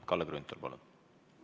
Kalle Grünthal, palun!